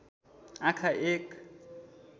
आँखा एक